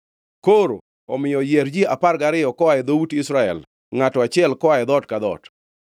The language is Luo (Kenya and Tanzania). Koro omiyo, yier ji apar gariyo koa e dhout Israel, ngʼato achiel koa e dhoot ka dhoot.